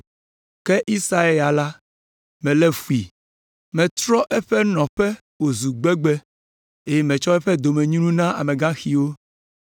Ke Esau ya la melé fui, metrɔ eƒe nɔƒe wòzu gbegbe, eye metsɔ eƒe domenyinu na amegaxiwo.”